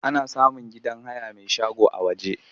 Ana samun gidan haya mai shago a waje.